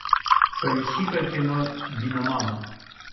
поищи ка кино диномама